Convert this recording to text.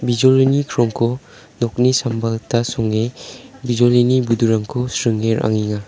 bijolini krongko nokni samba gita sringe bijolini budurangko sringe ra·angenga.